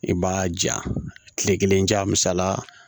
I b'a ja kile kelen ja misala